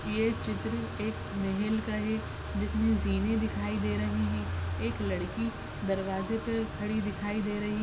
ये चित्र एक मेहेल का है जिसमें जिने दिखाई दे रहै है एक लडाकी दरवाजे पे खडी दिखाई दे रही है।